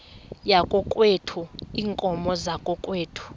yakokwethu iinkomo zakokwethu